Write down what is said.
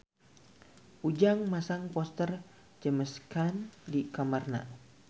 Ujang masang poster James Caan di kamarna